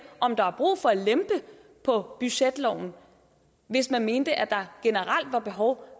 om der er brug for at lempe på budgetloven hvis man mener at der generelt er behov